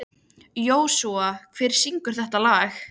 Þær eru sem sagt vorboðinn ljúfi í fjörunni.